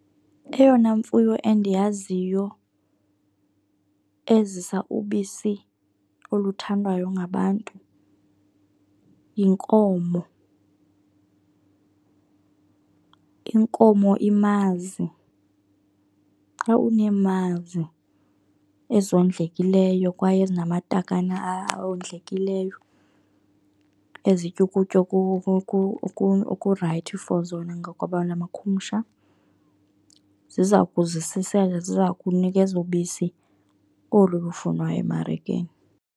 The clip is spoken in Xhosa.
Eyona mfuyo endiyaziyo ezisa ubisi oluthandwayo ngabantu yinkomo, inkomo imazi. Xa uneemazi ezondlekileyo kwaye ezinamatakane awondlekileyo ezitya ukutya oku-right for zona ngokwelamakhumsha, ziza kuzisisela, ziza kunikeza ubisi olu lufunwayo emarikeni.